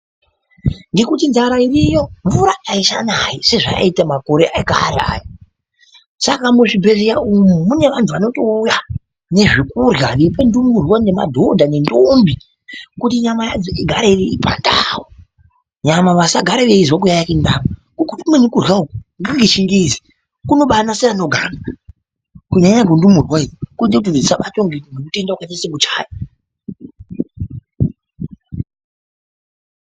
Ngekuti nzara iriyo mvura aichanayi sezvayaiita makore ekare aya , saka muzvibhedhlera umu mune vantu vanotouya nezvekurya veipe ndumurwa nemadhodha nendombi kuti nyama yadzo igare iripandau , nyama vasagare veizwa ...... ngekuti kumweni kurya uku ngekwechingezi kunobanase kugara kunyanya nyanya kundurwa idzo kunoita dzisabatwa nematenda wakaita sekuchaya.